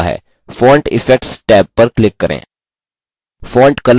font effects tab पर click करें